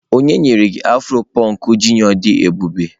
onye nyere gi afro punk junior di ebube?